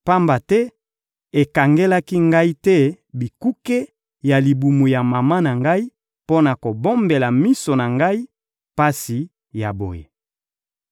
Pamba te ekangelaki ngai te bikuke ya libumu ya mama na ngai mpo na kobombela miso na ngai pasi ya boye!